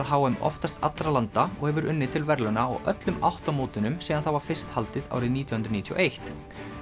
h m oftast allra landa og hefur unnið til verðlauna á öllum átta mótunum síðan það var fyrst haldið árið nítján hundruð níutíu og eitt